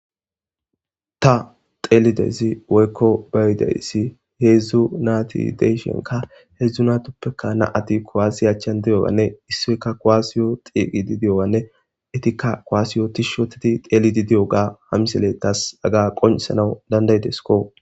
ta xeelidezi woykko bayideyssi heedzdzu naati deyshenka heedzdzu natoppeka naati kowasi achchan de7owanne issoyka koaasiyo xiiqidi di7owanne etikka koaasiyo tishshotedi xeelidi di7o ga hamisele taas aga qoncisanawu dandaydesko